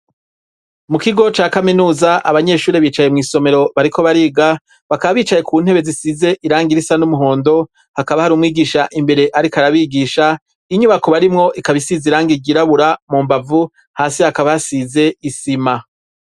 Mu kigo ca Kaminuza, abanyeshuri bicaye mw'isomero bariko bariga bakaba bicaye ku ntebe zisize irangi risa n'umuhondo hakaba hari umwigisha imbere ariko arabigisha. Inyubako barimwo ikaba isize irangi ryirabura, mu mbavu hasi hakaba hasize isima.